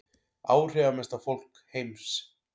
Áhrifamesta fólk heims